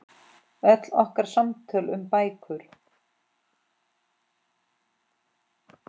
Öll okkar samtöl um bækur.